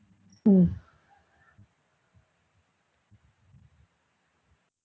உம்